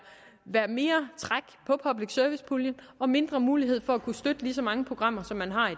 mere træk på public service puljen og mindre mulighed for at kunne støtte lige så mange programmer som man har i